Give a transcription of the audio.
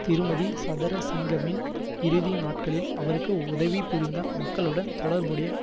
திருமதி சதறசிங்கவின் இறுதி நாட்களில் அவருக்கு உதவிபுரிந்த மக்களுடன் தொடர்புடைய